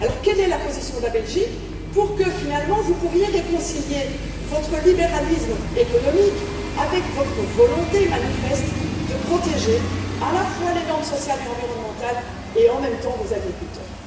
Alors quelle est la position de la Belgique pour que finalement vous puissiez réconcilier votre libéralisme économique avec votre volonté manifeste de protéger à la fois les normes sociales et environnementales, et en même temps vos agriculteurs.